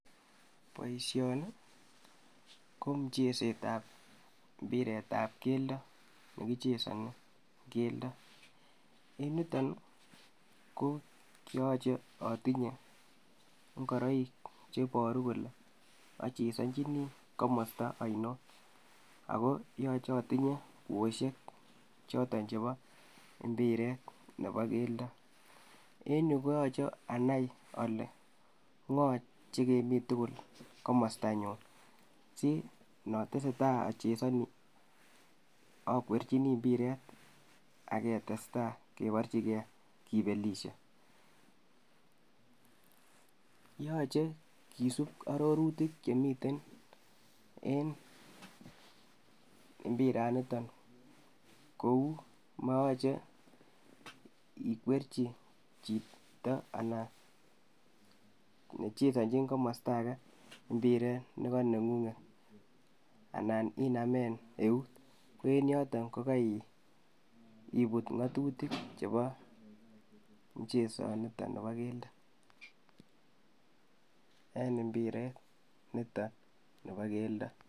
Boisioni ko mcheset ab mbiret ab keldo nekichesoni keldo. Niton ko yoche otinye ng'oroik cheboru kole achesonjini komosta onion, ago yoche otindoi kwosiek choton chebo mbiret nebo keldo en yuu koyoche anai ole ng'o chegemi tugul komostanyu asi notesetaa ochesoni okwerchini mbiret aketesta keborchike kibelisie , yoche kisup ororutik chemiten en mbiraniton kou moyoche ikwerchi chito anan nechesonchin komosto age mbiret nekoneng'ung'et anan inamen eut ko en yoton kogaibut ngatutik chebo mchesoniton nebo keldo en mbiret nito nebo keldo.